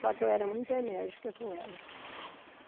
Só que eu era muito enérgica com elas.